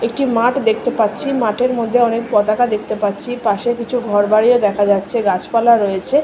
একটি মাঠ দেখতে পাচ্ছি মাঠের মধ্যে অনেক পতাকা দেখতে পাচ্ছি পাশে কিছু ঘর বাড়িও দেখা যাচ্ছে গাছপালা রয়েছে।